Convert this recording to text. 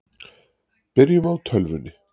Byrjum á tölvunni.